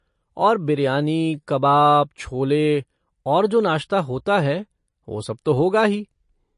और बिरयानी, कबाब, छोले और जो नाश्ता होता है वो सब तो होगा ही।